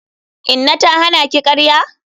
Inna ta hana ki karya?